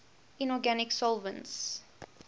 inorganic solvents